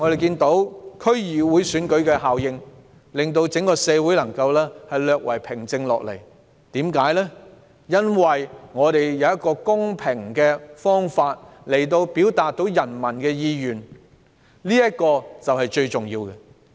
近數天，區議會選舉效應令整個社會稍為平靜下來，因為有一個公平的方法表達人民的意願，這是最重要的。